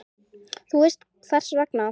Þú veist hvers vegna.